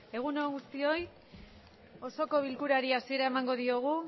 egun on guztioi osoko bilkurari hasiera emango diogu